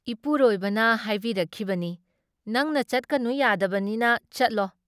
ꯏꯄꯨꯔꯣꯏꯕꯅ ꯍꯥꯏꯕꯤꯔꯛꯈꯤꯕꯅꯤ "ꯅꯪꯅ ꯆꯠꯀꯅꯨ ꯌꯥꯗꯕꯅꯤꯅ ꯆꯠꯂꯣ ꯫